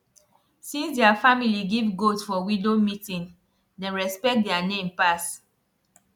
since their family give goat for widow meeting dem respect their name pass